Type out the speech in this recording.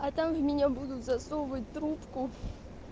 а там в меня будут засовывать трубку